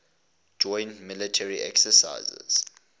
joint military exercises